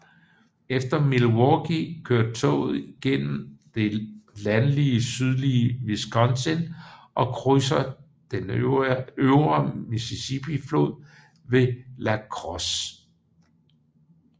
Efter Milwaukee kører toget gennem det landlige sydlige Wisconsin og krydser den Øvre Mississippiflod ved La Crosse